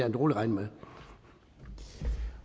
en utålmodig mand